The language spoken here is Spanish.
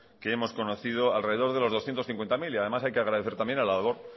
que hemos conocido alrededor de los doscientos cincuenta mil y además hay que agradecer también a la labor